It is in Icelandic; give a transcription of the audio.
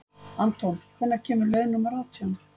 Anton, hvenær kemur leið númer átján?